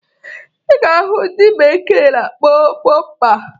Ị ga-ahụ nke ndị bekee na-akpọ bọmpa